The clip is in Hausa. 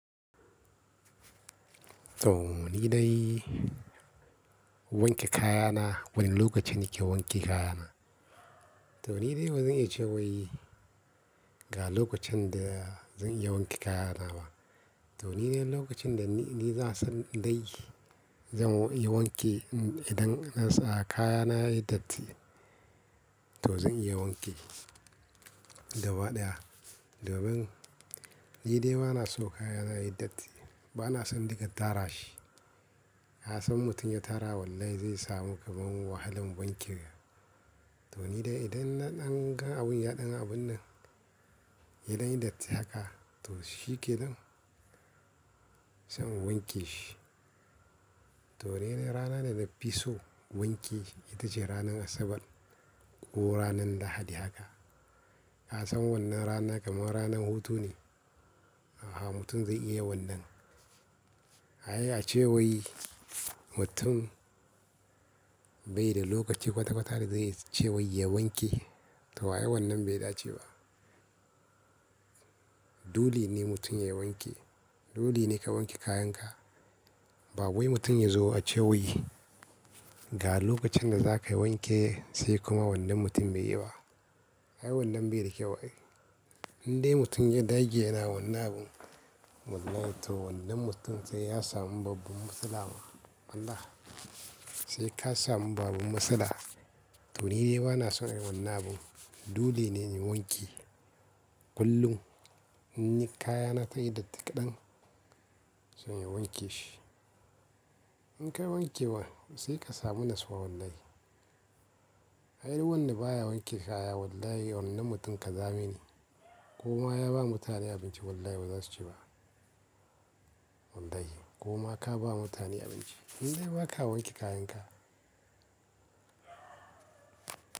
To ni dai wanke kayana, wane lokacin kuke wanke kayana? To ni dai ba zan iya ce wai ga lokacin da zan iya wanke kayana ba. To ni dai lokacin da ni, ni za san dai zan iya wanke idan na sa kayana ya yi datti, to zan iya wanke. Gabaɗaya, domin ni dai ba na so kayana ya yi datti. Ba na son in dinga tara shi. Ka san mutum ya tara, wallahi zai samu kamar wahalan wanke. To ni dai idan na dan ga abun ya ɗan abun nan, ya dan yi datti haka, to shike nan, sai in wanke shi. To ni dai rana da na fi so wanki, ita ce ranar Asabar ko ranar Lahadi haka. Ka san wannan rana kamar ranan hutu ne, mutum zai iya wannan. A iya a ce wai mutum bai da lokaci kwata kwata da zai ce wai ya wanke, to ai wannan bai dace ba. Dole ne mutum ya wanke. Dole ne ka wanke kayan ka. Ba wai mutum ya zo a ce wai ga lokacin da za ka wanke sai kuma wannan mutum bai yi ba. Ai wannan bai da kyau ai. Indai mutum ya dage yana wannan abun, wallahi to wannan mutum sai ya samu babban matsala ma. Allah. Sai ka samu babban matsala. To ni dai ba na son yin wannan abun. Dole ne in yi wanke. Kullum in yi kayana ta yi datti kadan, zan iya wanke shi. In ka wanke wa sai ka samu natsuwa wallahi. Ai wanda baya wanke kaya wallahi wannan mutum ƙazami ne. Kuma ya ba mutane abinci wallahi baza su ci ba. Wallahi ko ma ka ba mutane abinci. Indai ba ka wanke kayan ka.